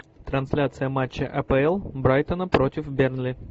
трансляция матча апл брайтона против бернли